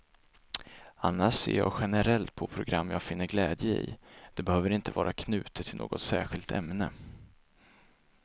Annars ser jag generellt på program jag finner glädje i, det behöver inte vara knutet till något särskilt ämne.